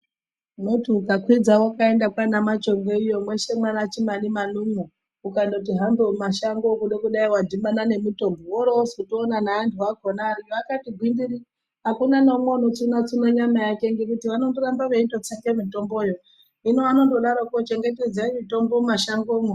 Unoti ukakwidza wakaenda kwaanaMachongwe iyo mweshe mwaana Chimanimani umwo, ukandoti hambe mumashango kuda kudai wadhibana nemitombo. Woorozotoona ngeantu akona ariyo akati gwindiri. Hakuna neumwe unochema-cheme nyama yake ngekuti vanondoramba veindodzite mitomboyo. Hino vanondodaroko, chengetedzai mitombo mumwashangomwo.